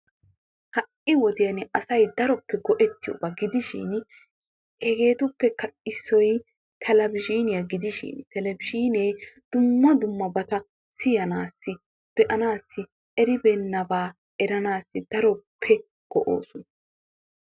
Ha'i wodiyan asay daroppe go'ettiyoo hegeettuppekka issoy televizhzhiniya gidishin televizhzhiinee dumma dummabata siyaanaassi be'anaassi eribeenabaa eranassi daroppe go'oosona.